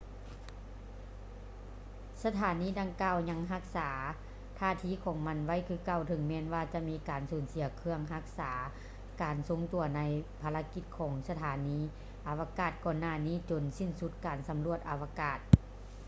ສະຖານີດັ່ງກ່າວຍັງຮັກສາທ່າທີຂອງມັນໄວ້ຄືເກົ່າ ເຖິງແມ່ນວ່າຈະມີການສູນເສຍເຄື່ອງຮັກສາການຊົງຕົວໃນພາລະກິດຂອງສະຖານີອາວະກາດກ່ອນຫນ້ານີ້ຈົນສິ້ນສຸດການສຳຫຼວດອາວະກາດ